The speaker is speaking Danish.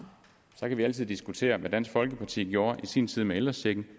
så kan vi altid diskutere hvad dansk folkeparti gjorde i sin tid med ældrechecken